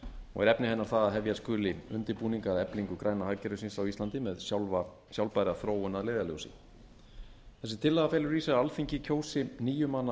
og er efni hennar það að hefja skuli undirbúning að eflingu græna hagkerfisins á íslandi með sjálfbæra þróun að leiðarljósi þessi tillaga felur í sér að alþingi kjósi níu manna